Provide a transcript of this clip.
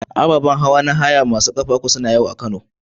Ababan hawa masu ƙafa uku na haya suna da yawa a Kano.